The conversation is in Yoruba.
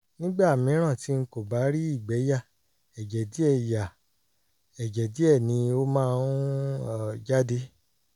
nígbà mìíràn tí n kò bá rí ìgbẹ́ yà ẹ̀jẹ̀ díẹ̀ yà ẹ̀jẹ̀ díẹ̀ ni ó máa ń um jáde